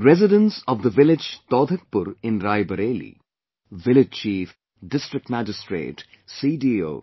Residents of the village Taudhakpur in Rae Bareilly, village chief, District Magistrate, CDO